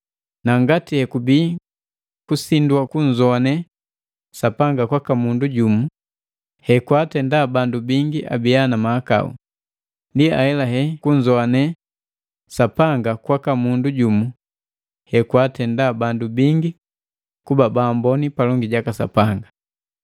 Na ngati hekubi kusindwa kunzowane Sapanga kwaka mundu jumu hekwaatenda bandu bingi abia na mahakau, ndi ahelahela kunzowane Sapanga kwaka mundu jumu hekwaatenda bandu bingi kuba baamboni palongi jaka Sapanga.